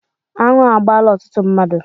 Anụ agbaala ọtụtụ mmadụ.